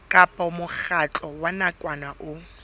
kapa mokgatlo wa nakwana o